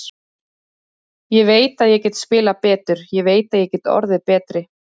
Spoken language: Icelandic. Ég veit að ég get spilað betur, ég veit að ég get orðið betri.